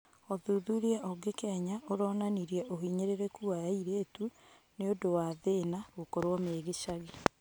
ũthuthuria ũngĩ Kenya ũronanirie ũhinyĩrĩrĩku wa airĩtu, nĩũndũ wa thĩna, gũkorwo megĩcagi